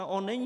A on není.